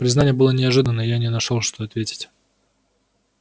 признание было неожиданно и я не нашёл что ответить